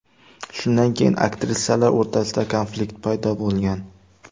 Shundan keyin aktrisalar o‘rtasida konflikt paydo bo‘lgan.